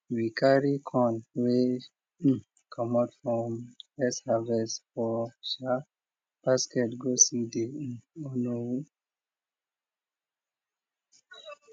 we carry corn wey comot from first harvest for basket go see de onowu